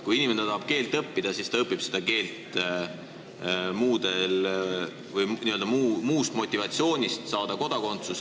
Kui inimene tahab keelt õppida, siis ta õpib seda keelt n-ö muust motivatsioonist: selleks, et saada kodakondsus.